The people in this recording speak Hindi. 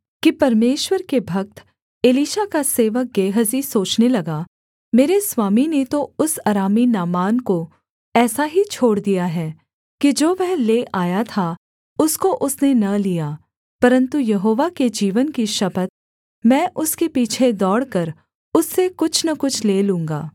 कि परमेश्वर के भक्त एलीशा का सेवक गेहजी सोचने लगा मेरे स्वामी ने तो उस अरामी नामान को ऐसा ही छोड़ दिया है कि जो वह ले आया था उसको उसने न लिया परन्तु यहोवा के जीवन की शपथ मैं उसके पीछे दौड़कर उससे कुछ न कुछ ले लूँगा